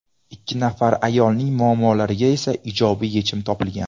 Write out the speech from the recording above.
Ikki nafar ayolning muammolariga esa ijobiy yechim topilgan.